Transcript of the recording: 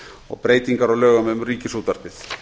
og breytingar á lögum um ríkisútvarpið